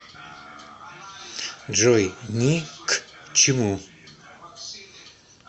джой ни к чему